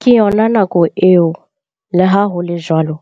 Ka yona nako eo, leha ho le jwalo,